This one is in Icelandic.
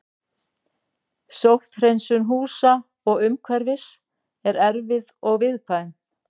Sótthreinsun húsa og umhverfis er erfið og viðkvæm.